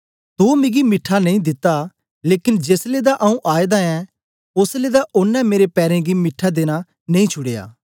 तो मिगी मीठा नेई दित्ता लेकन जेलै दा आऊँ आएदा ऐं ओसलै दे ओनें मेरे पैरें गी मीठे देना नेई छुड़या